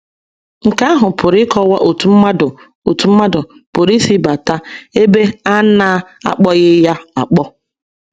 Nke ahụ pụrụ ịkọwa otú mmadụ otú mmadụ pụrụ isi bata ebe a na - akpọghị ya akpọ.